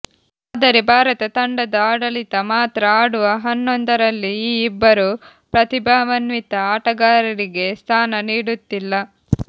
ಆದರೆ ಭಾರತ ತಂಡದ ಆಡಳಿತ ಮಾತ್ರ ಆಡುವ ಹನ್ನೊಂದರಲ್ಲಿ ಈ ಇಬ್ಬರು ಪ್ರತಿಭಾನ್ವಿತ ಆಟಗಾರರಿಗೆ ಸ್ಥಾನ ನೀಡುತ್ತಿಲ್ಲ